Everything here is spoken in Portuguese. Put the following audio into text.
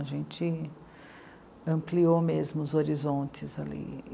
A gente ampliou mesmo os horizontes ali.